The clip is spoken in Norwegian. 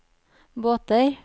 båter